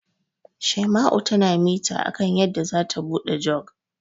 Shaima'u tana mita akan yadda zata buɗe Jug.